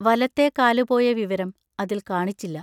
വലത്തെ കാലുപോയ വിവരം അതിൽ കാണിച്ചില്ല.